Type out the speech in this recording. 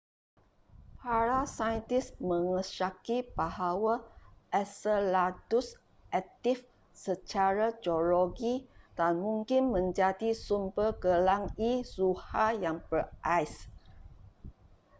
para saintis mengesyaki bahawa enceladus aktif secara geologi dan mungkin menjadi sumber gelang e zuhal yang berais